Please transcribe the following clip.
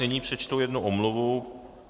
Nyní přečtu jednu omluvu.